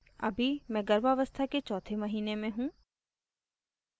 अभी मैं गर्भावस्था के चौथे महीने में हूँ